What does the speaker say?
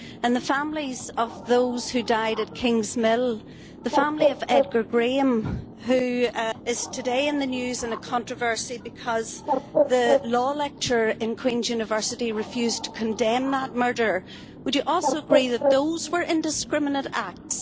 To the families of those who died at Kingsmill and the family of Edgar Graham, who is today in the news in a controversy because the law lecturer in Queens University refused to condemn that murder, would you also agree that those were indiscriminate acts?